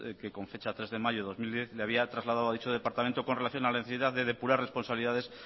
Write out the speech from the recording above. que con fecha tres de mayo de dos mil diez le había trasladado a dicho departamento con relación a la necesidad de depurar responsabilidades